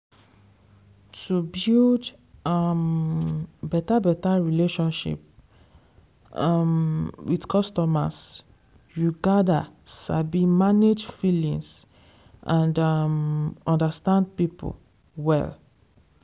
to build um beta beta relationship um with costumers you gather sabi manage feelings and um understand people well.